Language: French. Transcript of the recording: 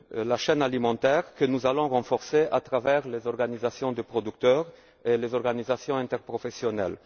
de la chaîne alimentaire, que nous allons renforcer à travers les organisations de producteurs et les organisations interprofessionnelles.